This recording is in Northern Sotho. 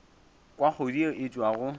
kwa kgodu yeo e tšwago